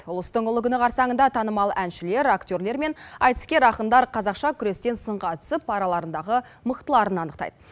ұлыстың ұлы күні қарсаңында танымал әншілер актерлер мен айтыскер ақындар қазақша күрестен сынға түсіп араларындағы мықтыларын анықтайды